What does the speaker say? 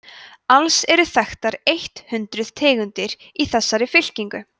alls eru þekktar eitt hundruð tegundir í þessari fylkingu